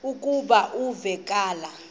lokuba uve kulaa